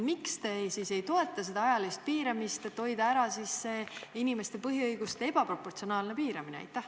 Miks te ei toeta ajaliste piiride seadmist, et hoida ära inimeste põhiõiguste ebaproportsionaalset piiramist?